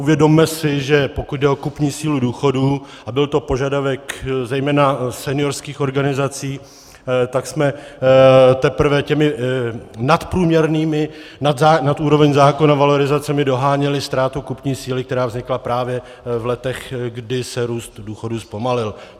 Uvědomme si, že pokud jde o kupní sílu důchodů, a byl to požadavek zejména seniorských organizací, tak jsme teprve těmi nadprůměrnými, nad úroveň zákona valorizacemi doháněli ztrátu kupní síly, která vznikla právě v letech, kdy se růst důchodů zpomalil.